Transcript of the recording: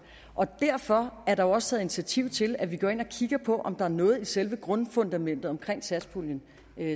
og derfor er der også taget initiativ til at vi går ind og kigger på om der er noget i selve grundfundamentet omkring satspuljen